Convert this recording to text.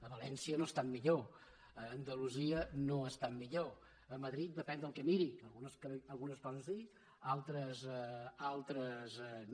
a valència no estan millor a andalusia no estan millor a madrid depèn del que miri algunes coses sí altres no